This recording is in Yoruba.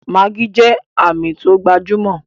Maggi jẹ́ Àmì tó gbajúmọ̀